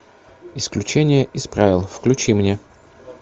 исключение из правил включи мне